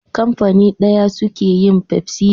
Kafani daya suke yin Pepsi da 7up.